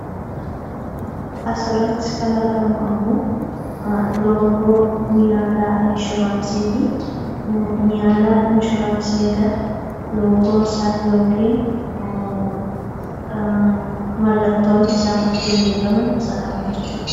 Asirratti kan argamu ammoo loogoo Niyaalaa Inshuraansiiti. Niyaalaa Inshuraansii egaa loogoon isaa yookiin mallattoon isaan ittiin beekaman isa kana jechuudha.